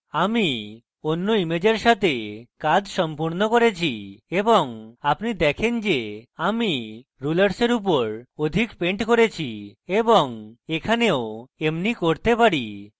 আমি অন্য ইমেজের সাথে কাজ সম্পূর্ণ করেছি এবং আপনি দেখেন যে আমি rulers এর উপর অধিক পেন্ট করেছি এবং এখানেও এমনি করতে পারি